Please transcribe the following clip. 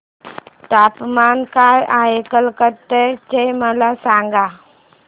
तापमान काय आहे कलकत्ता चे मला सांगा